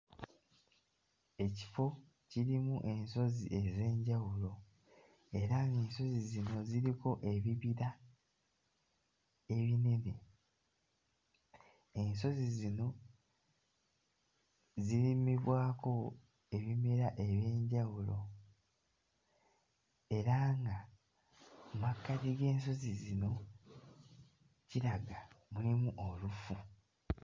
Ekifo kirimu ensozi ez'enjawulo era ng'ensozi zino ziriko ebibira ebinene. Ensozi zino zirimibwako ebimera eby'enjawulo era nga mu makkati g'ensozi zino kiraga mulimu olufu.